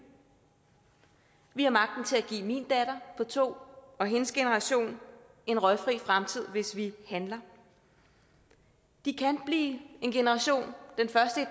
vi har magten til at give min datter på to år og hendes generation en røgfri fremtid hvis vi handler de kan blive en generation den første